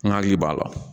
N hakili b'a la